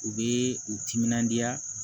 U bɛ u timinandiya